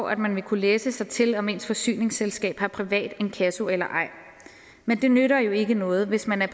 at man vil kunne læse sig til om ens forsyningsselskab har privat inkasso eller ej men det nytter jo ikke noget hvis man er